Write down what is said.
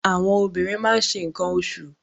Àwọn obìnrin máa ṣe nǹkan oṣù